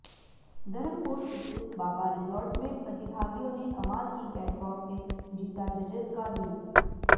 धर्मपुर स्थित बाबा रिजॉर्ट में प्रतिभागियों ने कमाल की कैटवॉक से जीता जजेज का दिल